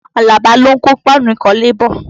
Àlàbá lò ń kó páànù ìkọ́lé bọ̀